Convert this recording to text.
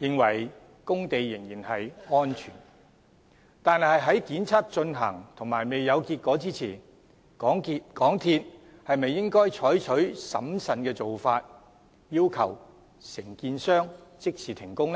認為工地仍然安全，但當檢測進行而未有結果前，港鐵公司是否應採取審慎的做法，要求承建商即時停工？